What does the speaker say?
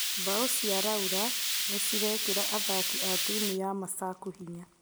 Bao cia laura nĩciraekĩra athaki a timũ ya masaku hinya.